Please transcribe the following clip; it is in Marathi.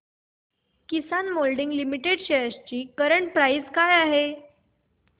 किसान मोल्डिंग लिमिटेड शेअर्स ची करंट प्राइस काय आहे